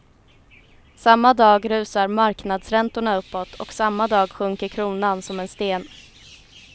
Samma dag rusar marknadsräntorna uppåt och samma dag sjunker kronan som en sten.